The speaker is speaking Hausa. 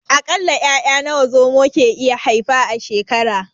A ƙalla 'ya'ya nawa Zomo ke iya haifa a shekara?